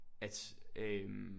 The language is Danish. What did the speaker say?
At øh